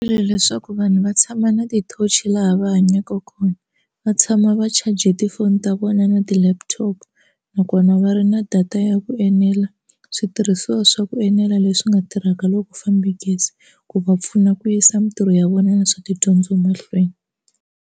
Leswaku vanhu va tshama na ti-torch-i laha va hanyaka kona va tshama va charge tifoni ta vona na ti-laptop nakona va ri na data ya ku enela switirhisiwa swa ku enela leswi nga tirhaka loko ku fambe gezi ku va pfuna ku yisa mitirho ya vona na swa tidyondzo mahlweni.